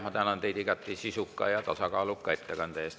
Ma tänan teid igati sisuka ja tasakaaluka ettekande eest.